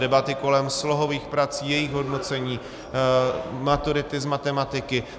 Debaty kolem slohových prací, jejich hodnocení, maturity z matematiky.